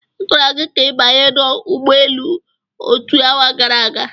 A gwara gị ka ị banye n'ụgbọelu otu awa gara aga.